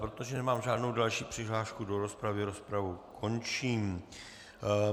Protože nemám žádnou další přihlášku do rozpravy, rozpravu končím.